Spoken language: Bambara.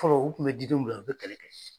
Fɔlɔ u tun bɛ di denw bila u bɛ kɛlɛ kɛ s